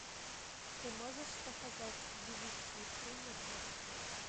ты можешь показать девичьи премудрости